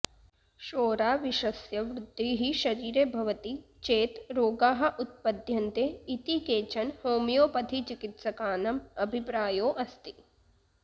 शोराविषस्य वृद्धिः शरीरे भवति चेत् रोगाः उत्पद्यन्ते इति केचन होमियोपथि चिकिस्तकानां अभिप्रायो अस्ति